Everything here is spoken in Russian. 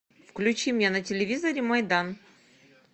включи мне на телевизоре майдан